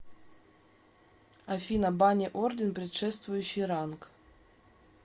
афина бани орден предшествующий ранг